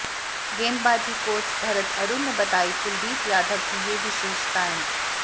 गेंदबाजी कोच भरत अरुण ने बताई कुलदीप यादव की ये विशेषताएं